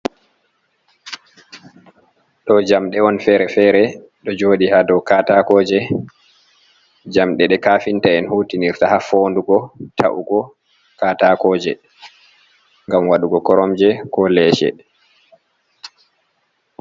Ɗo jamɗe on fere-fere ɗo joɗi ha dow katakoje. Jamɗe ɗe kafinta en hutinirta ha fondugo, ta’ugo katakoje ngam waɗugo koromje ko leece.